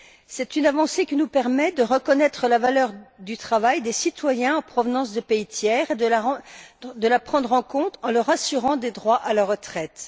C'est une avancée qui nous permet de reconnaître la valeur du travail des citoyens en provenance de pays tiers et de la prendre en compte en leur assurant des droits à la retraite.